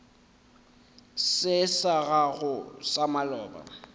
se sa gago sa maloba